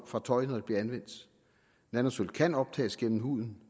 fra tøj når det bliver anvendt at nanosølv kan optages gennem huden